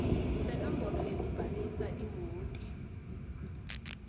senombolo yekubhalisa imoti